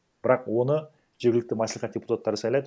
бірақ оны жергілікті мәслихат депутаттары сайлайды